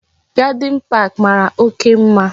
Garde park mara oke mma